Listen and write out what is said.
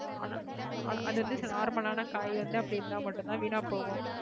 ஆனா அது வந்து normal ஆன காய் வந்து அப்படி இருந்தா மட்டும்தான் வீணா போகும்